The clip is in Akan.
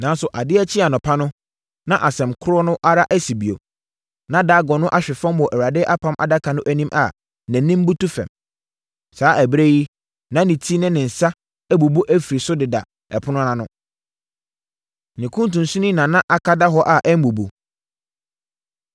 Nanso, adeɛ kyee anɔpa no, na asɛm korɔ no ara asi bio. Na Dagon no ahwe fam wɔ Awurade Apam Adaka no anim a nʼanim butu fam. Saa ɛberɛ yi deɛ, na ne ti ne ne nsa abubu afiri so deda ɛpono ano. Ne kuntunsini na na aka da hɔ a ammubu.